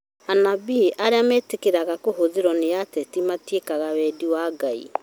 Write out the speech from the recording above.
Anabii arĩa metĩkĩra kũhũthĩrwo nĩ ateti matĩikaga wendi wa Ngai